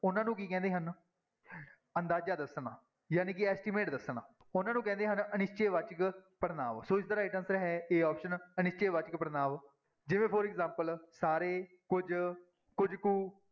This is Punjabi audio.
ਉਹਨਾਂ ਨੂੰ ਕੀ ਕਹਿੰਦੇ ਹਨ ਅੰਦਾਜ਼ਾ ਦੱਸਣਾ ਜਾਣੀ ਕਿ estimate ਦੱਸਣਾ ਉਹਨਾਂ ਨੂੰ ਕਹਿੰਦੇ ਹਨ ਅਨਿਸ਼ਚੈ ਵਾਚਕ ਪੜ੍ਹਨਾਂਵ ਸੋ ਇਸਦਾ right answer ਹੈ a option ਅਨਿਸ਼ਚੈ ਵਾਚਕ ਪੜ੍ਹਨਾਂਵ ਜਿਵੇਂ for example ਸਾਰੇ, ਕੁੱਝ, ਕੁੱਝ ਕੁ